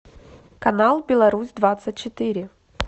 канал беларусь двадцать четыре